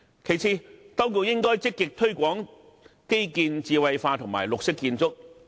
其次，當局應該積極推廣基建智慧化和綠色建築。